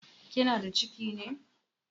Kina da ciki ne?